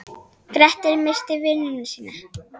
Grettir misst vinnuna sína.